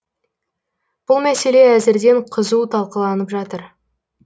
бұл мәселе әзірден қызу талқыланып жатыр